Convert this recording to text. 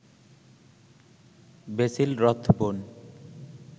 Basil Rathbone